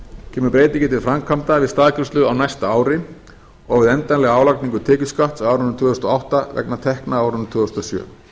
kemur breytingin til framkvæmda við staðgreiðslu á næsta ári og við endanlega álagningu tekjuskatts á árinu tvö þúsund og átta vegna tekna á árinu tvö þúsund og sjö